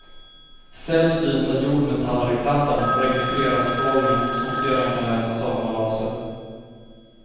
Sällsynta jordmetaller i plattan registrerar strålningen, som sedan kan läsas av med laser.